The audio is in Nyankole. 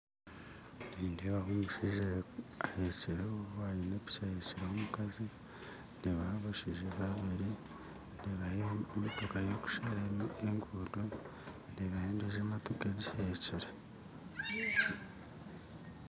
Nindeebaho omushaija ahekireho aine piki ahekireho omukazi ndeebaho abashaija babiri ndeebaho emotoka y'okushara eguuto ndeebaho endiijo motooka egiheekire